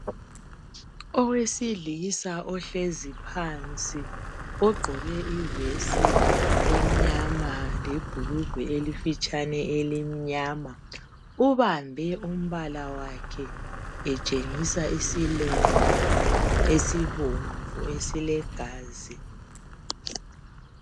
Owesilisa ohlezi phansi ogqoke ivesi emnyama lebhurugwe elifitshane elimnyama ubambe umbala wakhe etshengisa isilonda esibomvu esilegazi.